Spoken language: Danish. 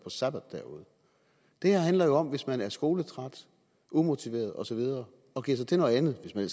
sabbatår derude det her handler om at hvis man er skoletræt umotiveret og så videre og giver sig til noget andet hvis man